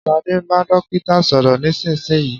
Sade ń bá dókítà sọ̀rọ̀ nísinsìnyí